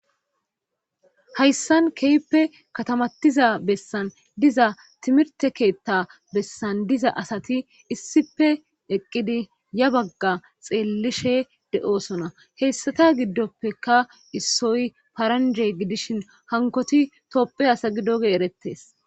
Hayssan keyppe katamatiza bessan diza timirte keetta bessan diza asati issipe eqqidi ya bagga xeellishe de7osona heyssata giddoppeka issoy paranje gidishin hankoti topphe asagidoge erettes